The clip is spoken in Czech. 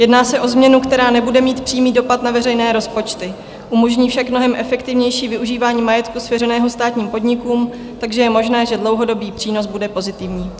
Jedná se o změnu, která nebude mít přímý dopad na veřejné rozpočty, umožní však mnohem efektivnější využívání majetku svěřeného státním podnikům, takže je možné, že dlouhodobý přínos bude pozitivní.